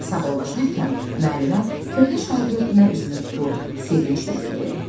Sağollaşarkən müəllimə köhnə şagirdinə üzünü tutub sevinclə dedi: